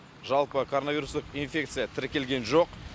жалпы коронавирустық инфекция тіркелген жоқ